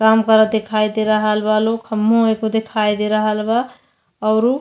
काम करत दिखाई दे रहल बा लो। खम्हो एगो देखाई दे रहल बा औरु --